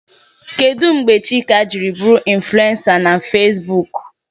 Kedụ mgbe Chika jiri bụrụ infulensa na Feesbuk?